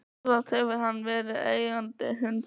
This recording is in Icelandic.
Sjálfsagt hefur hann verið eigandi hundsins.